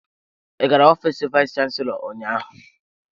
Ị gara ofiis vayis chansilọ ụnyaahụ?